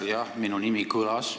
Jah, sest minu nimi kõlas.